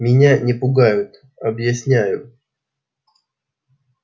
меня не пугают объясняю